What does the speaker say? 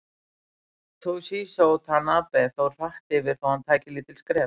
Toshizo Tanabe fór hratt yfir þó hann tæki lítil skref.